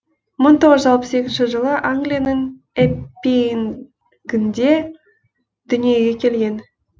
мың тоғыз жүз алпыс екінші жылы англияның эппингінде дүниеге келген